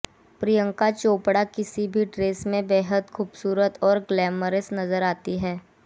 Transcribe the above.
प्रियंका चोपड़ा किसी भी ड्रेस में बेहद खूबसूरत और ग्लैमरस नजर आती हैं